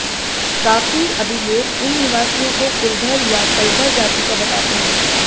काफी अभिलेख इन निवासियो को कुलधर या कलधर जाति का बताते हैं